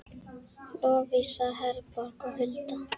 Lovísa Herborg og Hulda.